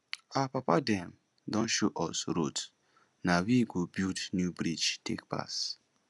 our papa dem don show us road na we go build new bridge take pass